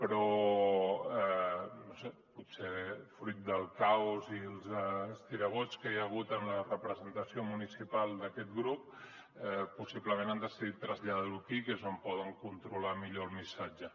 però no ho sé potser fruit del caos i els estirabots que hi ha hagut en la representació municipal d’aquest grup possiblement han decidit traslladar ho aquí que és on poden controlar millor el missatge